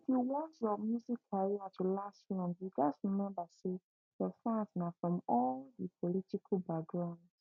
if you want your music career to last long you gatz remember say your fans na from all di political background